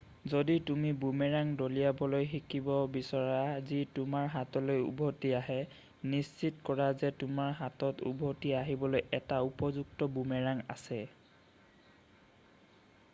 যদি তুমি বুমেৰাং দলিয়াবলৈ শিকিব বিচৰা যি তোমাৰ হাতলৈ উভটি আহে নিশ্চিত কৰা যে তোমাৰ হাতত উভতি আহিবলৈ এটা উপযুক্ত বুমেৰাং আছে